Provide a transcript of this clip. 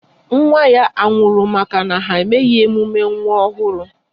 Nwa ya anwụrụ maka na ha emeghị emume nwa ọhụrụ?